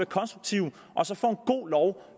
konstruktive og så få vedtaget god lov